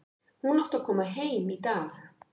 Hún átti að koma heim í dag.